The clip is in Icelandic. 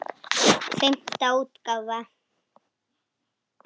Fimmta útgáfa.